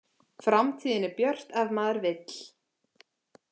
Framtíðin er björt ef maður vill